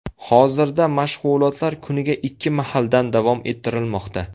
Hozirda mashg‘ulotlar kuniga ikki mahaldan davom ettirilmoqda.